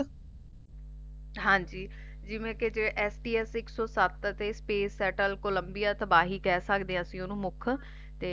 ਹਾਂਜੀ ਜਿਵੇਂ ਕਿ ਇਕ ਸੋ ਸਾਤ Space Settle Columbia ਤਬਾਹੀ ਕਹਿ ਸਕਦੇ ਆ ਅਸੀ ਓਹਨੂੰ ਮੁੱਖ ਤੇ